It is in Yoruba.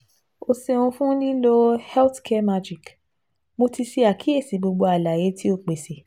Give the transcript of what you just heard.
O ṣeun fun lilo Healthcaremagic, Mo ti ṣe akiyesi gbogbo alaye ti o pese